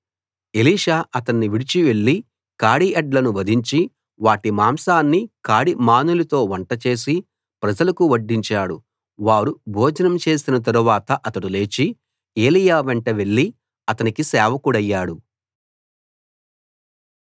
Elisha అతన్ని విడిచి వెళ్లి కాడి ఎడ్లను వధించి వాటి మాంసాన్ని కాడి మానులతో వంట చేసి ప్రజలకు వడ్డించాడు వారు భోజనం చేసిన తరువాత అతడు లేచి ఏలీయా వెంట వెళ్లి అతనికి సేవకుడయ్యాడు